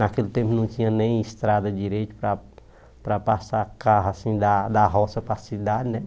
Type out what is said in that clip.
Naquele tempo não tinha nem estrada direito para para passar carro assim da da roça para a cidade, né?